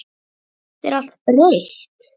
Samt er allt breytt.